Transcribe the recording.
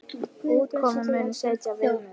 Útkoman muni setja viðmið.